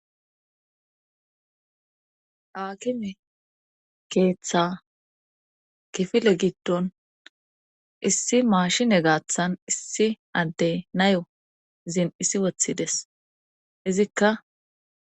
akime keeththa kifile giddon issi maashine gaaththan issi addey nayo zin issi wothides izikka